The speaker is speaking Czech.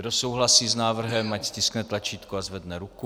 Kdo souhlasí s návrhem, ať stiskne tlačítko a zvedne ruku.